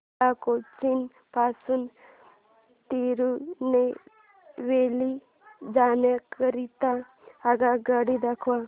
मला कोचीन पासून तिरूनेलवेली जाण्या करीता आगगाड्या दाखवा